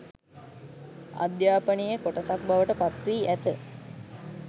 අධ්‍යාපනයේ කොටසක් බවට පත්වී ඇත.